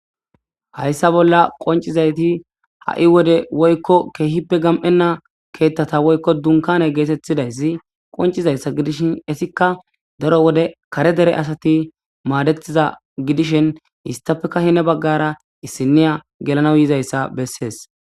hayssa bolla qoncizayti ha7i wode woykko keehippe gam7enna keeththata woykko dunkane geetettidayssi qoncizayssa gidishin isikka daro wode kare dere asati maadetiza gidishin histafeka hine baggara issiniya gelana yizayssa bessees